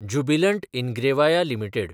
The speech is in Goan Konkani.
Jubilant Ingrevia limited